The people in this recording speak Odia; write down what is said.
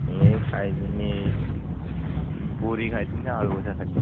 ଏଇ ଖାଇଥିନି ପୁରୀ ଖାଇଥିନି ଆଉ ଆଲୁଭଜା ଖାଇଥିଲି।